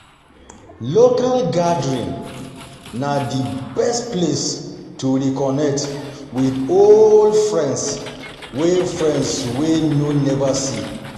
Local gathering na the best place to reconnect with old friends wey friends wey you never see